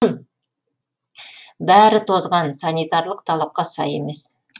бәрі тозған санитарлық талапқа сай емес